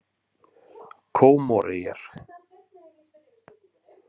Kómoreyjar